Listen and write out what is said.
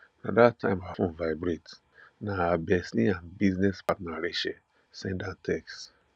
na that time her phone vibrate na her bestie and business partner rachel send her text